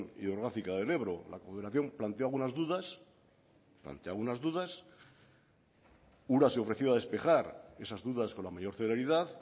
hidrográfica del ebro la confederación planteaba unas dudas ura se ofreció a despejar esas dudas con la mayor celeridad